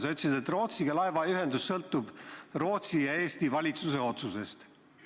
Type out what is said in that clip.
Sa ütlesid, et laevaühendus Rootsiga sõltub Rootsi ja Eesti valitsuse otsusest.